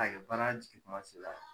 A ye baara jigintuma sela